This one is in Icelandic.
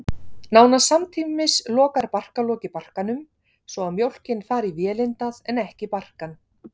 Nánast samtímis lokar barkalokið barkanum, svo að mjólkin fari í vélindað en ekki barkann.